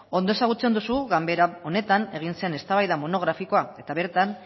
ondo ezagutzen duzu ganbara honetan egin zen eztabaida monografikoa eta bertan